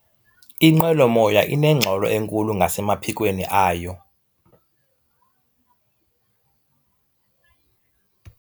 Inqwelomoya inengxolo enkulu ngasemaphikweni ayo.